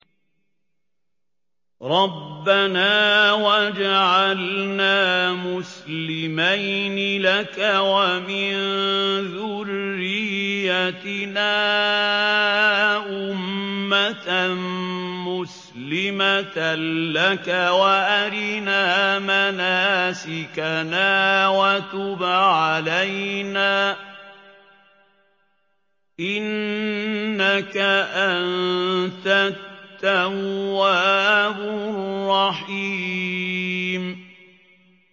رَبَّنَا وَاجْعَلْنَا مُسْلِمَيْنِ لَكَ وَمِن ذُرِّيَّتِنَا أُمَّةً مُّسْلِمَةً لَّكَ وَأَرِنَا مَنَاسِكَنَا وَتُبْ عَلَيْنَا ۖ إِنَّكَ أَنتَ التَّوَّابُ الرَّحِيمُ